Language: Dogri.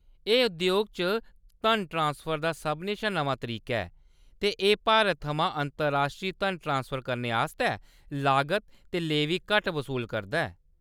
एह्‌‌ उद्योग च धन ट्रांसफर दा सभनें शा नमां तरीका ऐ, ते एह्‌‌ भारत थमां अंतरराश्ट्री धन ट्रांसफर करने आस्तै लागत ते लेवी घट्ट वसूल करदा ऐ।